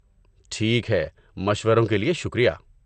ٹھیک ہے، مشوروں کے لیے شکریہ!